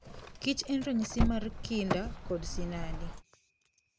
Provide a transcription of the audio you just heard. Kich en ranyisi mar kinda kod sinani.